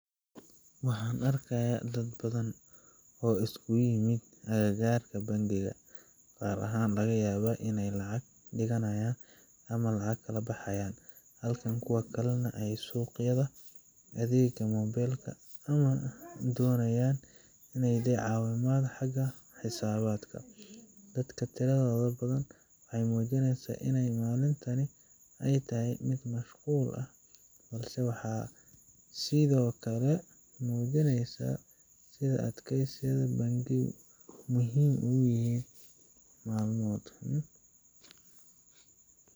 Waxaan arkaaya dad badan oo iskuugu yimid aga gaarka bankiga, qaar laga yaaba ineey lacag digani haayan ama lacag kala baxaayan, halka kuwa kalena aay suqyada adeeg ama mobeelka ama doonayaan ineey helaan caawimaad xaga xisaabadka, dadka tiradooda badan waxeey muujineysa ineey malintani aay tahay mid mashquul ah balse waxaa sido kale muujineysa, sida aay bankiyada muhiim ugu yihiin malmoodka.